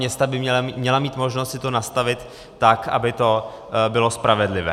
Města by měla mít možnost si to nastavit tak, aby to bylo spravedlivé.